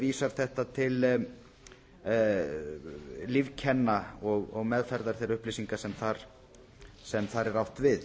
vísar þetta til lífkenna og meðferðar þeirra upplýsinga sem þar er átt við